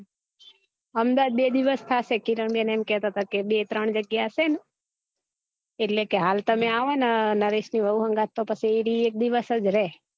અમદાવાદ બે દિવસ થાશે કિરણ બેન એમ કેહતા હતા કે બે ત્રણ જગ્યા હશે ને એટલે કે હાલ તમે આવો ને નરેશ ની વવું હન્ગાથ તો પછી એ એક દિવેસ જ રે